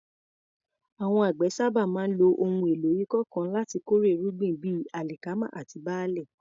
Àwọn àgbẹ̀ sábà máa ń lo ohun èlò ìkọ́ nǹkan láti kórè irúgbìn bíi alikama àti barle.